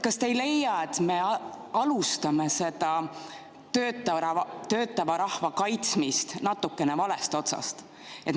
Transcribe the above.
Kas te ei leia, et me alustame seda töötava rahva kaitsmist natukene valest otsast?